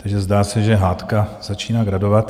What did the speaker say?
Takže zdá se, že hádka začíná gradovat.